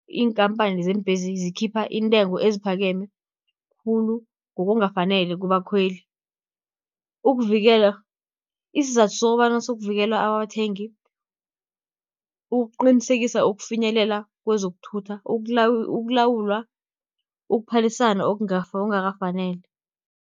Iinkampani zeembhesi zikhipha intengo eziphakeme khulu, ngokungakafaneli kubakhweli. Isizathu sokobana sokuvikela abathengi, ukuqinisekisa ukufinyelela kwezokuthutha, ukulawulwa ukuphalisana okungakafanele.